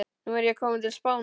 Nú er ég kominn til Spánar.